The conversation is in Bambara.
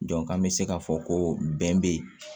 an bɛ se k'a fɔ ko bɛn bɛ yen